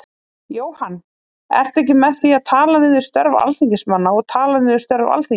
Jóhann: Ertu ekki með því að tala niður störf Alþingismanna og tala niður störf Alþingis?